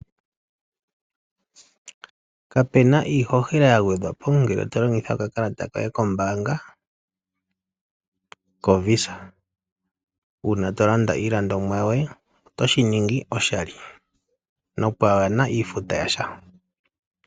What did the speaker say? Kape na iihohela ya gwedhwa po ngele to longitha okakalata koye kombaanga kovisa. Uuna to landa iilandomwa yoye otoshi ningi oshali nopwaa na iifuta yasha.